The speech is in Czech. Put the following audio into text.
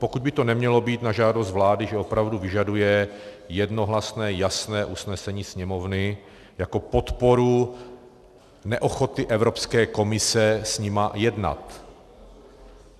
Pokud by to nemělo být na žádost vlády, že opravdu vyžaduje jednohlasné jasné usnesení Sněmovny jako podporu neochoty Evropské komise s nimi jednat.